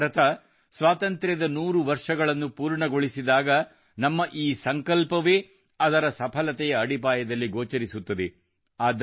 ನಮ್ಮ ಭಾರತ ಸ್ವಾತಂತ್ರ್ಯದ ನೂರು ವರ್ಷಗಳನ್ನು ಪೂರ್ಣಗೊಳಿಸಿದಾಗ ನಮ್ಮ ಈ ಸಂಕಲ್ಪವೇ ಅದರ ಸಫಲತೆಯ ಅಡಿಪಾಯದಲ್ಲಿ ಗೋಚರಿಸುತ್ತದೆ